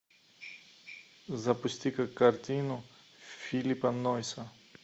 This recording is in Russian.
запусти ка картину филиппа нойса